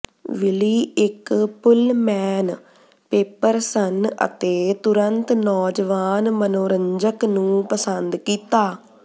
ਵਿਲੀ ਇੱਕ Pullman paper ਸਨ ਅਤੇ ਤੁਰੰਤ ਨੌਜਵਾਨ ਮਨੋਰੰਜਕ ਨੂੰ ਪਸੰਦ ਕੀਤਾ